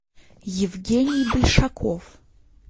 евгений большаков